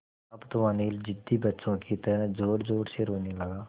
अब तो अनिल ज़िद्दी बच्चों की तरह ज़ोरज़ोर से रोने लगा